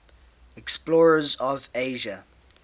explorers of asia